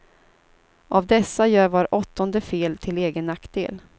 Av dessa gör var åttonde fel till egen nackdel.